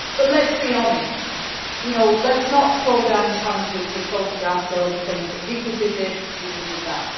But let us be honest, let us not throw down challenges with photographs or other things, where people did this and people did that.